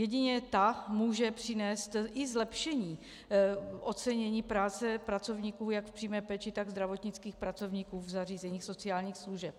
Jedině ta může přinést i zlepšení ocenění práce pracovníků jak v přímé péči, tak zdravotnických pracovníků v zařízeních sociálních služeb.